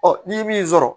n'i ye min sɔrɔ